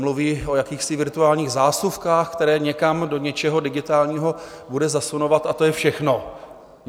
Mluví o jakýchsi virtuálních zásuvkách, které někam do něčeho digitálního bude zasunovat, a to je všechno.